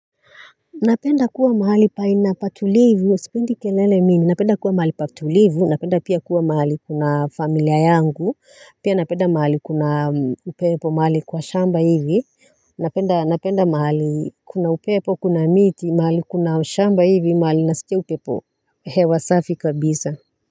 Napenda kuwa mahali pa aina patulivu, sipendi kelele mimi, napenda kuwa mahali patulivu, napenda pia kuwa mahali kuna familia yangu, pia napenda mahali kuna upepo, mahali kwa shamba hivi, napenda mahali kuna upepo, kuna miti, mahali kuna shamba hivi, mahali nasikia upepo, hewa safi kabisa.